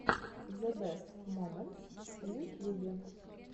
зэ бэст моментс в ютьюбе